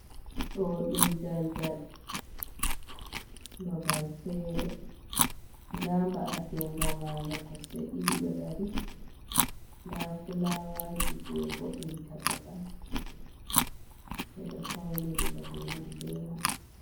Ɗo ɗum daldal babal fere nda mba’atenga marnga kosɗe ɗiɗi ɗo dari, nda fulawaji je vo’inta babal ɓeɗo fauniri babe man be mai.